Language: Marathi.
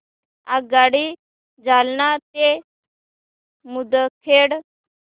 आगगाडी जालना ते मुदखेड